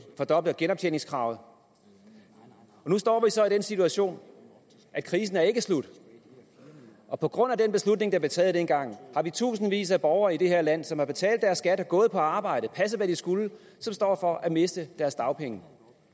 fordoble genoptjeningskravet men nu står vi så i den situation at krisen ikke er slut og på grund af den beslutning der blev taget dengang har vi tusindvis af borgere i det her land som har betalt deres skat gået på arbejde passet hvad de skulle som står over for at miste deres dagpenge